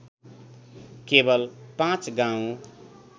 केवल पाँच गाउँ